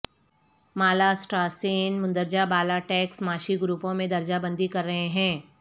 مالاسسٹراسین مندرجہ بالا ٹیکس معاشی گروپوں میں درجہ بندی کر رہے ہیں